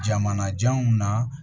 Jamanajanw na